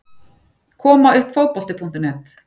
Koma uppfotbolti.net